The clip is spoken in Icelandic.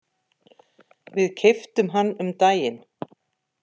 Við keyptum hann um daginn.